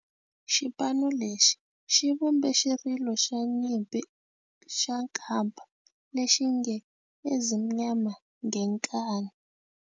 Xipano lexi xi vumbe xirilo xa nyimpi xa kampa lexi nge 'Ezimnyama Ngenkani'.